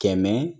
Kɛmɛ